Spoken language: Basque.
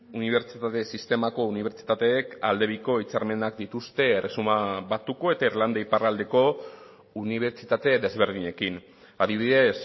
unibertsitate sistemako unibertsitateek aldebiko hitzarmenak dituzte erresuma batuko eta irlanda iparraldeko unibertsitate desberdinekin adibidez